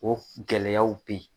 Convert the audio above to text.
O gɛlɛyaw be yen